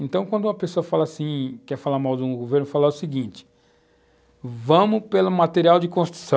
Então, quando uma pessoa fala assim, quer falar mal de um governo, fala o seguinte, vamos pela material de construção.